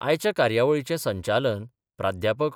आयच्या कार्यवळीचे संचालन प्रा.